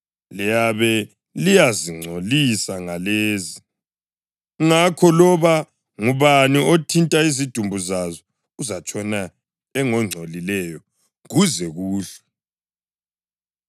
Liyabe liyazingcolisa ngalezi; ngakho loba ngubani othinta izidumbu zazo uzatshona engongcolileyo kuze kuhlwe.